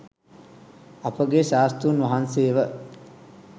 අප ගේ ශාස්තෘන් වහන්සේව